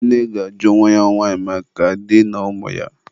nne ga-ajụ nwa ya nwanyị maka di ya ụmụ ya.